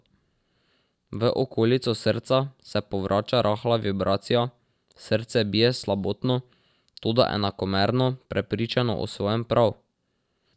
V okolico srca se povrača rahla vibracija, srce bije slabotno, toda enakomerno, prepričano o svojem prav.